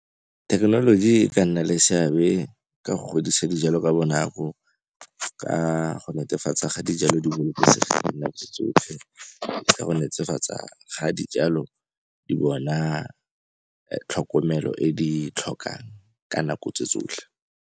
Thekenoloji e ka nna le seabe ka go godisa dijalo ka bonako, ka go netefatsa ga dijalo di bolokesegile ka dinako tsotlhe, ka go netefatsa ga dijalo di bona tlhokomelo e di e tlhokang ka nako tse tsotlhe.